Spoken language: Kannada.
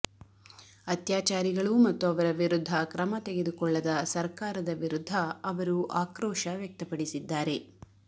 ಅತ್ಯಾಚಾರಿಗಳು ಮತ್ತು ಅವರ ವಿರುದ್ಧ ಕ್ರಮ ತೆಗೆದುಕೊಳ್ಳದ ಸರ್ಕಾರದ ವಿರುದ್ಧ ಅವರು ಆಕ್ರೋಶ ವ್ಯಕ್ತಪಡಿಸಿದ್ದಾರೆ